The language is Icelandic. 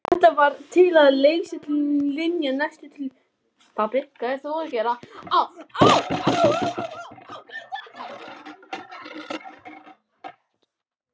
Þetta varð til þess að Linja settist að hjá Tóta.